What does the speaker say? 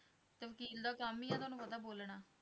ਤੇ ਵਕੀਲ ਦਾ ਕੰਮ ਹੀ ਹੈ, ਉਹਨਾਂ ਨੂੰ ਪੈਂਦਾ ਬੋਲਣਾ।